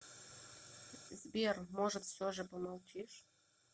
сбер может все же помолчишь